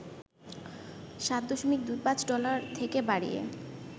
৭.২৫ dollar থেকে বাড়িয়ে